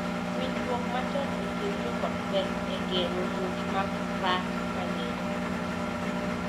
Winjruok machon e kind joot ber e geng’o muoch mag rach mang’eny.